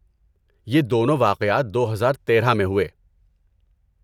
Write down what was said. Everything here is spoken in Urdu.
یہ دونوں واقعات دو ہزار تیرہ میں ہوئے